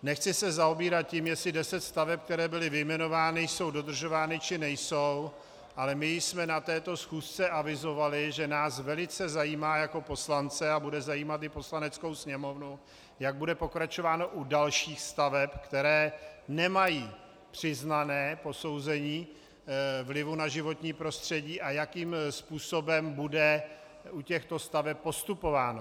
Nechci se zabývat tím, jestli deset staveb, které byly vyjmenovány, jsou dodržovány, či nejsou, ale my jsme na této schůzce avizovali, že nás velice zajímá jako poslance a bude zajímat i Poslaneckou sněmovnu, jak bude pokračováno u dalších staveb, které nemají přiznané posouzení vlivu na životní prostředí, a jakým způsobem bude u těchto staveb postupováno.